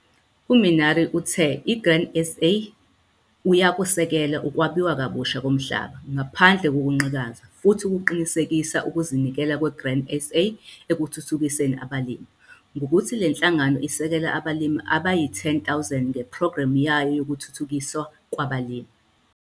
U-Minnaar uthe i-Grain SA uyakusekela ukwabiwa kabusha komhlaba ngaphandle kokunqikaza futhi ukuqinisekisile ukuzinikela kwe-Grain SA ekuthuthukiseni abalimi, ngokuthi le nhlangano isekela abalimi abayi-10 000 ngePhrogremu yayo yokuThuthukiswa kwabaLimi.